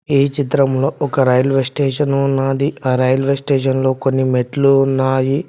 ఈ చిత్రంలో ఒక రైల్వే స్టేషన్ ఉన్నాది ఆ రైల్వేస్టేషన్లో కొన్ని మెట్లు ఉన్నాయి.